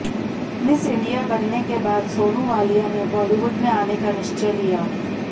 miss India बनने के बाद सोनू वालिया ने बॉलीवुड में आने का निश्चय लिया